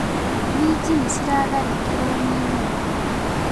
Minji nĩciratharĩkĩrwo nĩ nyoni.